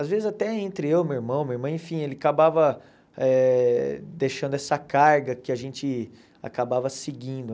Às vezes, até entre eu, meu irmão, minha irmã, enfim, ele acabava eh deixando essa carga que a gente acabava seguindo.